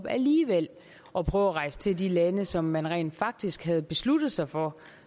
alligevel at prøve at rejse til de lande som man rent faktisk havde besluttet sig for